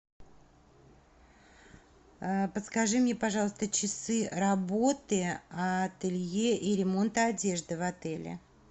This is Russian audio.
подскажи мне пожалуйста часы работы ателье и ремонта одежды в отеле